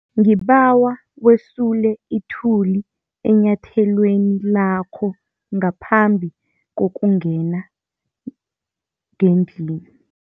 Ngibawa wesule ithuli enyathelweni lakho ngaphambi kokungena ngendlini.